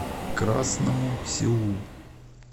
красному селу